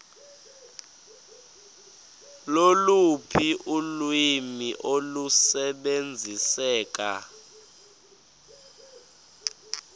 loluphi ulwimi olusebenziseka